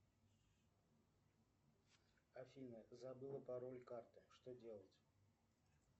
афина забыла пароль карты что делать